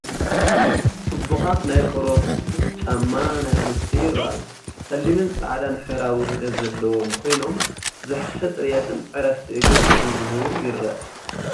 ጽቡቓት ናይ ቆርበት ቡትስ ጫማ ናይ ኣንስትዮ ይረኣዩ። ጸሊምን ጻዕዳን ሕብራዊ ውህደት ዘለዎም ኮይኖም፡ ዝሓሸ ጽሬትን ዕረፍቲ እግርን ከም ዝህቡ ይረአ።